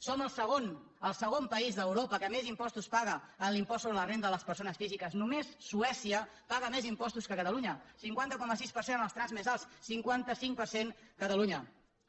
som el segon el segon país d’europa que més impostos paga en l’impost sobre la renda de les persones físiques només suècia paga més impostos que catalunya cinquanta cinc coma sis per cent en els trams més alts cinquanta cinc per cent catalunya